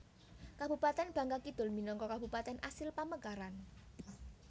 Kabupatèn Bangka Kidul minangka Kabupatèn asil pamekaran